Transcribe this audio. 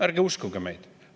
" Ärge uskuge neid!